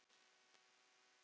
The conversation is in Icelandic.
ásamt mörgum öðrum.